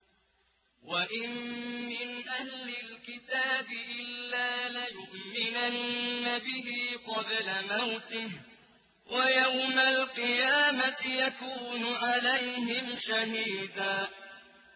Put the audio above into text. وَإِن مِّنْ أَهْلِ الْكِتَابِ إِلَّا لَيُؤْمِنَنَّ بِهِ قَبْلَ مَوْتِهِ ۖ وَيَوْمَ الْقِيَامَةِ يَكُونُ عَلَيْهِمْ شَهِيدًا